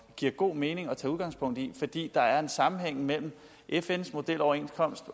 giver god mening at tage udgangspunkt i fns fordi der er en sammenhæng mellem fns modeloverenskomst